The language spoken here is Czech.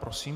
Prosím.